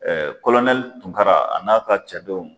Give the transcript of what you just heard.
Ɛɛ kɔlonɛli tunkara a n'a ka cadenw.